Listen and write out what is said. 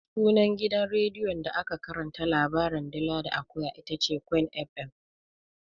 Sunan gidan rediyon da ake karanta labarin "dila da akuya" itace Queen FM.